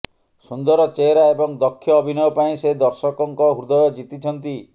ସୁନ୍ଦର ଚେହେରା ଏବଂ ଦକ୍ଷ ଅଭିନୟ ପାଇଁ ସେ ଦର୍ଶକଙ୍କ ହୃଦୟ ଜିତିଛନ୍ତି